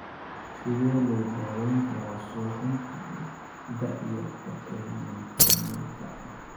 Sidee loo daweyn karaa suuxdinta da'yarta ee miyoclonika?